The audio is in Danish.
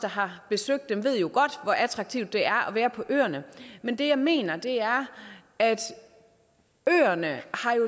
har besøgt dem ved jo godt hvor attraktivt det er at være på øerne men det jeg mener er at øerne